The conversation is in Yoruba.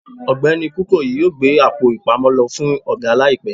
ọgbẹni kukoyi yọọ gbé Àpò-ìpamọ́ lo fún oga laípe